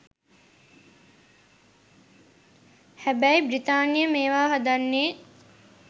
හැබැයි බ්‍රිතාන්‍ය මේවා හදන්නෙ